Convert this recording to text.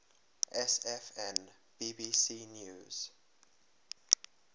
sfn bbc news